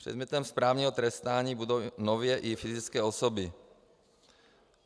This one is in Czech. Předmětem správního trestání budou nově i fyzické osoby.